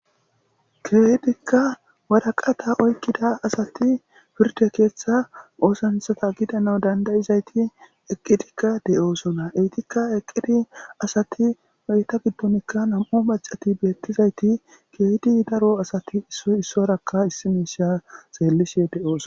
Keehidikka waraqatha oykkida asathi pirdde keeththaa oosanchchatha gidanawu danddayizaythi eqqidikka de7oosona; eethikka eqqidi asathi nam7u heytha giddonikka maccathi beeththizaythi keehidi daro asathi issoy issuwaarakka issi miishshaa xeellishee de7oos.